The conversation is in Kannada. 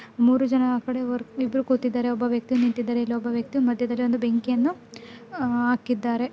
ಮೂರು ಜನ ಆ ಕಡೆ ವರ್- ಇಬ್ರು ಕೂತಿದ್ದಾರೆ ಒಬ್ಬ ವ್ಯಕ್ತಿ ನಿಂತಿದ್ದಾನೆ ಇಲ್ಲಿ ಒಬ್ಬ ವ್ಯಕ್ತಿ ಮಧ್ಯದಲ್ಲಿ ಒಂದು ಬೆಂಕಿ ಅನ್ನು ಹಾಕ್ಕಿದ್ದಾರೆ.